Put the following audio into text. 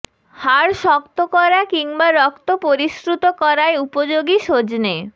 হাড় শক্ত করা কিংবা রক্ত পরিশ্রুত করায় উপযোগী সজনে